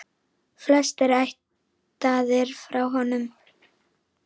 Flestir ættaðir frá honum.